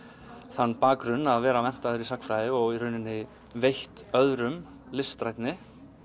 þann bakgrunn að vera menntaður í sagnfræði og í raun veitt öðrum listrænni